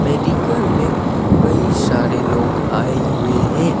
Medical मे कई सारे लोग आए हुए हैं।